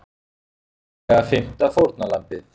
Hugsanlega fimmta fórnarlambið